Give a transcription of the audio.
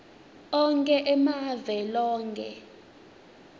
onkhe emave loke